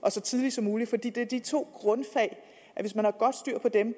så tidligt som muligt fordi det er de to grundfag hvis man har godt styr på dem